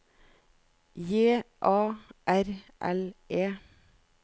J A R L E